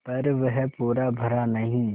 पर वह पूरा भरा नहीं